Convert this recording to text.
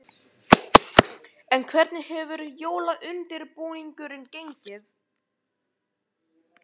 En hvernig hefur jólaundirbúningurinn gengið?